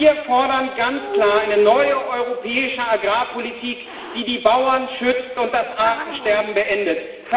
Wir fordern ganz klar eine neue europäische Agrarpolitik, die die Bauern schützt und das Artensterben beendet.